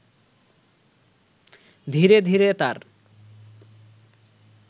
ধীরে ধীরে তার